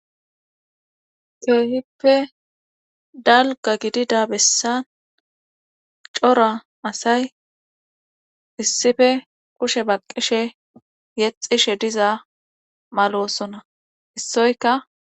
Keehippe dalgga gidida bessa cora asay issife kushe baqqishe yexxishe diza maloosona issoyaka.